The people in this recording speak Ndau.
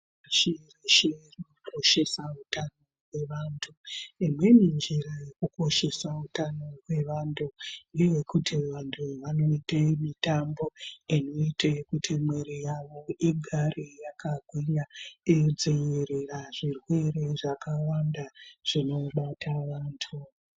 Shireshe rinokoshesa utano hwevantu imweni njira yekukoshesa utano hwrvantu ngeyekuti vantu vanoite mutambo inoita kuti mwiri yawo igare yakagwinya kudzivirira zvirwere zvakawanda zvinobata vantu.